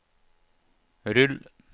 rull